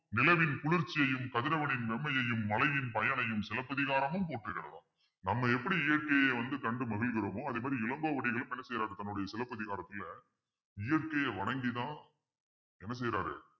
நிலவின் குளிர்ச்சியையும் கதிரவனின் நன்மையையும் மழையின் பயனையும் சிலப்பதிகாரமும் போற்றுகிறதா நம்ம எப்படி இயற்கையை வந்து கண்டு மகிழ்கிறோமோ அதே மாதிரி இளங்கோவடிகளும் என்ன செய்யறாரு தன்னுடைய சிலப்பதிகாரத்துல இயற்கையா வணங்கி தான் என்ன செய்யறாரு